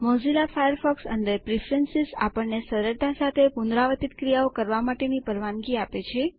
Mozilla Firefox અંદર preference આપણને સરળતા સાથે પુનરાવર્તિત ક્રિયાઓ કરવા માટે પરવાનગી આપે છે